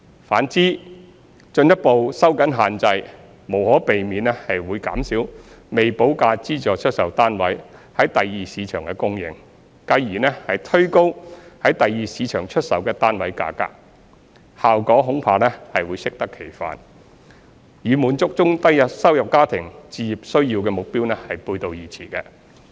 反之，進一步收緊限制無可避免會減少未補價資助出售單位在第二市場的供應，繼而推高在第二市場出售的單位價格，效果恐怕會適得其反，與滿足中低收入家庭置業需要的目標背道而馳。